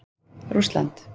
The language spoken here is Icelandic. Rússland